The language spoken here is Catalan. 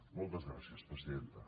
moltes gràcies presidenta